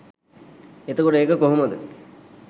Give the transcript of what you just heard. එතකොට ඒක කොහොමද